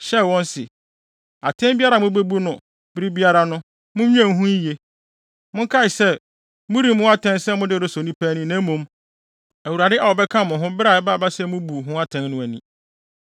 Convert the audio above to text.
hyɛɛ wɔn se, “Atɛn biara a mubebu no bere biara no, munnwen ho yiye. Monkae sɛ, moremmu atɛn sɛ mode resɔ nnipa ani, na mmom, Awurade a ɔbɛka mo ho biara a ɛbɛba sɛ mubu ho atɛn no ani.